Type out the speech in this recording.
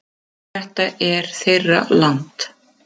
En þetta er þeirra land